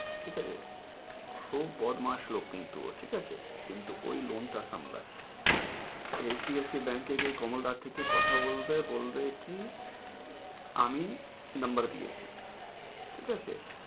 ঠিক আছে। খুব বদমাস লোক কিন্তু, ও ঠিক আছে? কিন্তু ওই loan টা সামলায়, HDFC bank গিয়ে কমলদার থেকে কথা বলবে, বলবে কি আমি number দিয়েছি, ঠিক আছে?